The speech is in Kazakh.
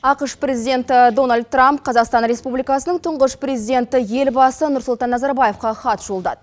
ақш президенті дональд трамп қазақстан республикасының тұңғыш президенті елбасы нұрсұлтан назарбаевқа хат жолдады